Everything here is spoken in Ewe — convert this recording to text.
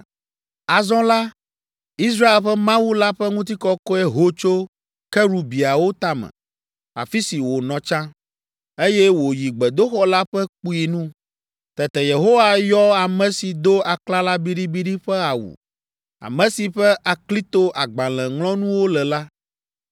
Azɔ la, Israel ƒe Mawu la ƒe ŋutikɔkɔe ho tso kerubiawo tame, afi si wònɔ tsã, eye wòyi gbedoxɔ la ƒe kpui nu. Tete Yehowa yɔ ame si do aklala biɖibiɖi ƒe awu, ame si ƒe aklito agbalẽŋlɔnuwo le la,